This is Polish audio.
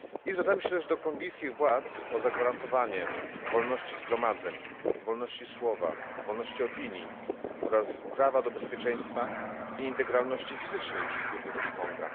Zwracamy się też do kongijskich władz o zagwarantowanie wolności zgromadzeń, wolności słowa, wolności opinii oraz prawa do bezpieczeństwa i integralności fizycznej wszystkich obywateli Konga.